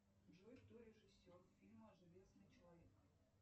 джой кто режиссер фильма железный человек